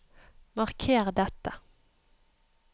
Marker dette